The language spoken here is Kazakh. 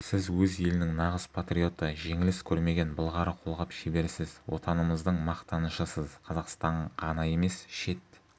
сіз өз елінің нағыз патриоты жеңіліс көрмеген былғары қолғап шеберісіз отанымыздың мақтанышысыз қазақстан ғана емес шет